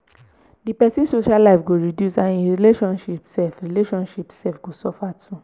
di pesin social life go reduce and im relationship sef relationship sef go suffer